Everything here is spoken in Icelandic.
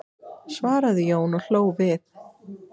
svaraði Jón og hló við.